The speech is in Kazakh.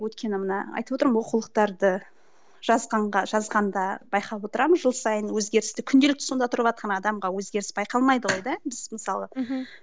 өйткені мына айтып отырмын ғой оқулықтарды жазғанға жазғанда байқап отырамын жыл сайын өзгерісті күнделікті сонда тұрыватқан адамға өзгеріс байқалмайды ғой да біз мысалы